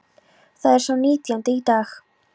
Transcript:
Það er sá nítjándi í dag.